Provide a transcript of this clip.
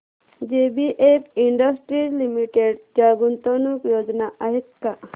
JBF industries limited च्या गुंतवणूक योजना आहेत का